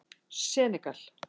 Senegal